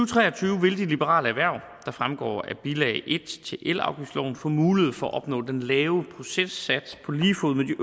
tre og tyve vil de liberale erhverv der fremgår af bilag en til elafgiftsloven få mulighed for at opnå den lave procentsats på lige fod med de